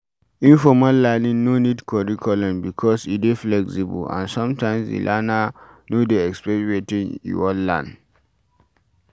Informal learning no need curriculum because e dey flexible and sometimes di learner no dey expect wetin e wan learn